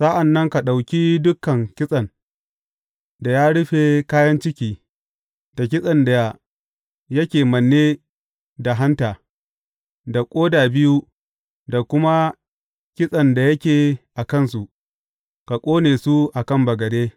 Sa’an nan ka ɗauki dukan kitsen da ya rufe kayan ciki, da kitsen da yake manne da hanta, da ƙoda biyu da kuma kintsen da yake a kansu, ka ƙone su a kan bagade.